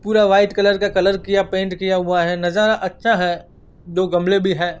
पूरा white colour का colour किया पेंट किया हुआ है नजारा अच्छा है दो गमले भी हैं।